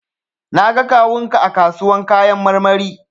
Na ga kawun ka a kasuwan kayan marmari.